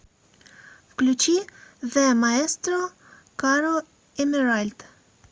включи зе маэстро каро эмеральд